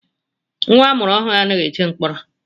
Nwa amụrụ ọhụrụ anaghị eje mkpọrọ